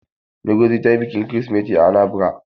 Ngozi ta yi bikin kirisimeti a Anambra.